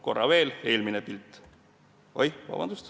Korra veel eelmine pilt.